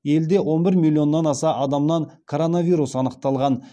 елде он бір миллионнан аса адамнан коронавирус анықталған